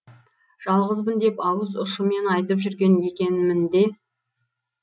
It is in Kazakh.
жалғызбын деп ауыз ұшымен айтып жүрген екенмін де